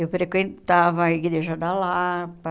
Eu frequentava a Igreja da Lapa.